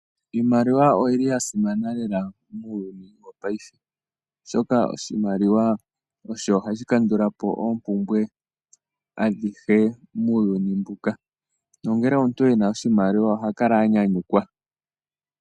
Iimaliwa oyi li ya simana lela muuyuni wo paife. Oshoka oshimaliwa , osho ha shi kandulapo oompumbwe adhihe muuyuni mbuka. Nongele omuntu ena oshimaliwa, oha kala anyanyukwa.